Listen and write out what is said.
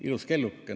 Ilus kelluke.